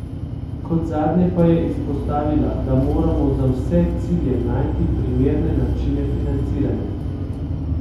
Kot zadnje pa je izpostavila, da moramo za vse cilje najti primerne načine financiranja.